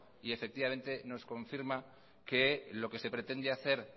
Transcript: y efectivamente nos confirma que lo que se pretende hacer